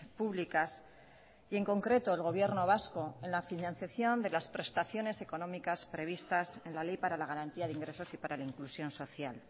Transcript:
públicas y en concreto el gobierno vasco en la financiación de las prestaciones económicas previstas en la ley para la garantía de ingresos y para la inclusión social